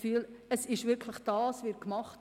Wir sehen es somit gerade andersherum: